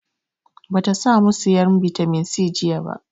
Ba ta sa mu sayan bitamin C jiya ba